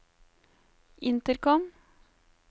intercom